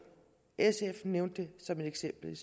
sf nævnte det som et eksempel